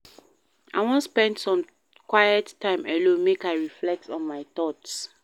I wan spend some quiet time alone make I reflect on my thoughts.